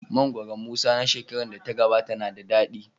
Mangoron Musa na shekarar da ta gabata na da dadi.